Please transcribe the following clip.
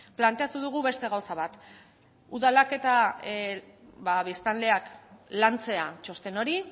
planteatu dugu beste gauza bat udalak eta biztanleak lantzea txosten hori